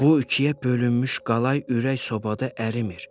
Bu ikiyə bölünmüş qalay ürək sobada ərimir.